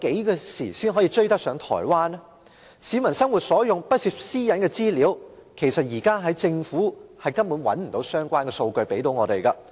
關於市民日常生活可以用到而不涉及私隱的資料，其實政府現時根本沒有提供相關數據供我們使用。